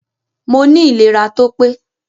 Moní ìléra tópé